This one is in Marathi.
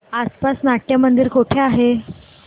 आसपास नाट्यमंदिर कुठे आहे